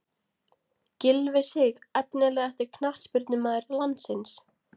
Gylfi Sig Efnilegasti knattspyrnumaður landsins?